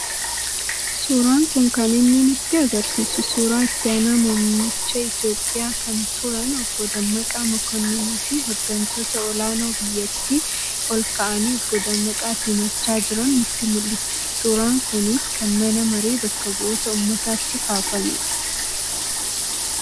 Suuraan kun kaninni nu agarsiisu suuraa itti aanaa muummicha itoophiyaa kan turan Obbo Dammaqaa Mokonnoniifi hooggantoota olaanoo biyyattii ol ka'anii Obbo Dammaqaa simachaa jiran nutti mul'isu. Suuraan kunis kan mana maree bakka bu'oota uummataatti kaafamedha.